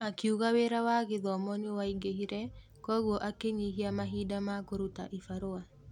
Akiuga wĩra wa gĩthomo nĩwaingĩhire koguo akĩnyihia mahinda ma kũruta ibarũa.